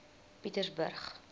pietersburg